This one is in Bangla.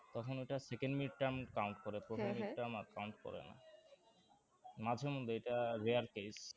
তখন ওটা second mid-term count করে প্রথম mid-term আর count করে না মাঝে মধ্যে এটা rare case